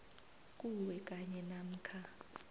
kuwe kanye namkha